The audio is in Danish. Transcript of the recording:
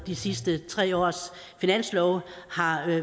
de sidste tre års finanslove har